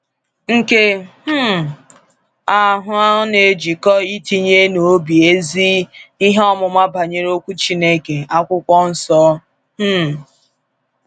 “Nke um ahụ na ejikọ itinye n’obi ezi ihe ọmụma banyere okwu Chineke, akwụkwọ Nsọ. um